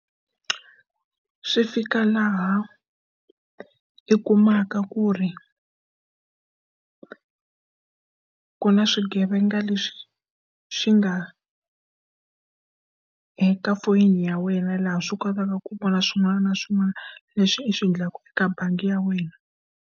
Swi fika laha hi kumaka ku ri ku na swigevenga leswi swi nga eka foni ya wena laha swi kotaka ku vona swin'wana na swin'wana leswi u swi endlaka eka bangi ya wena.